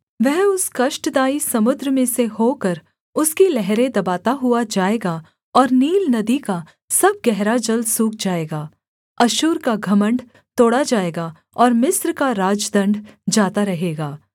वह उस कष्टदायक समुद्र में से होकर उसकी लहरें दबाता हुआ जाएगा और नील नदी का सब गहरा जल सूख जाएगा अश्शूर का घमण्ड तोड़ा जाएगा और मिस्र का राजदण्ड जाता रहेगा